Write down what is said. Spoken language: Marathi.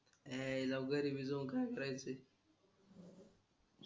यायला घरी बी जाऊन काय करायचंय